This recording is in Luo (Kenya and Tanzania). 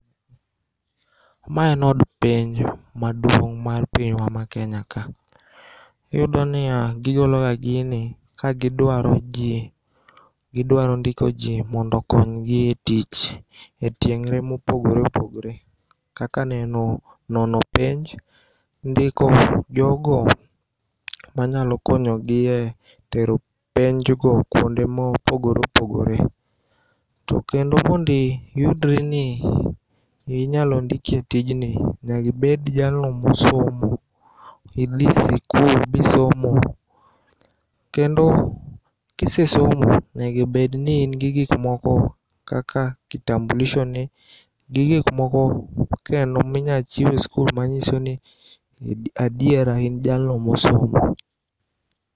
Ma en od penj maduong' mar pinywa ma Kenya ka. Iyudoniya gigologa gini kagidwaro ndiko jii mondo okonygi e tich e tieng're mopogre opogre kaka nono penj. Ndiko jogo manyalokonyogie tero penjgo kuonde mopogre opogre. To kendo mondiyudri ni inyalondiki e tijni nyakibed jalno mosomo. Idhi sikul bisomo. Kendo kisesomo nego obedni ingi gikmoko kaka kitamblishoni gi gikmoko kendo mi inyachiwe skul manyisoni adiera in jalno mosomo.